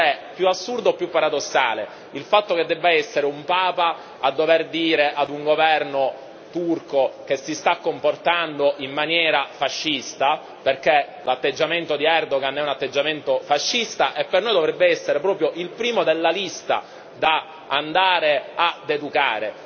Non so se è più assurdo o paradossale il fatto che debba essere un Papa a dover dire a un governo turco che si sta comportando in maniera fascista, perché l'atteggiamento di Erdogan è un atteggiamento fascista, e per noi dovrebbe essere il primo della lista ad andare a educare.